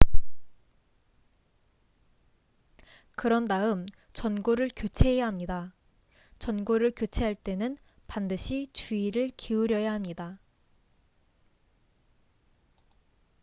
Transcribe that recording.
그런 다음 전구를 교체해야 합니다 전구를 교체할 때는 반드시 주의를 기울여야 합니다